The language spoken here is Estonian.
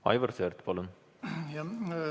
Aivar Sõerd, palun!